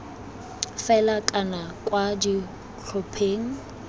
fela kana c kwa ditlhopheng